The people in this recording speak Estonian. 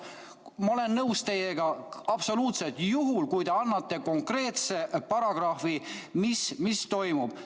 Ma olen teiega nõus, absoluutselt, juhul, kui te annate konkreetse paragrahvi, mis toimub.